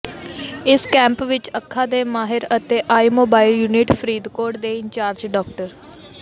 ਇਸ ਕੈਂਪ ਵਿੱਚ ਅੱਖਾਂ ਦੇ ਮਾਹਿਰ ਅਤੇ ਆਈ ਮੋਬਾਈਲ ਯੂਨਿਟ ਫਰੀਦਕੋਟ ਦੇ ਇੰਚਾਰਜ ਡਾ